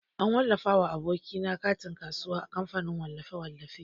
An wallafa wa aboki na katin kasuwa a kamfanin wallafe-wallafe.